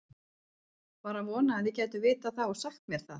Var að vona þið gætuð vitað það og sagt mér það.